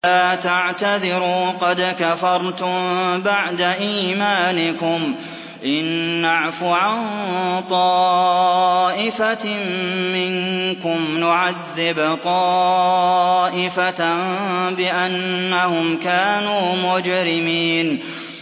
لَا تَعْتَذِرُوا قَدْ كَفَرْتُم بَعْدَ إِيمَانِكُمْ ۚ إِن نَّعْفُ عَن طَائِفَةٍ مِّنكُمْ نُعَذِّبْ طَائِفَةً بِأَنَّهُمْ كَانُوا مُجْرِمِينَ